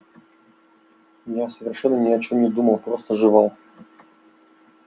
я совершенно ни о чем не думал просто жевал